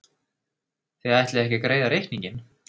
Þið ætlið ekki að greiða reikninginn?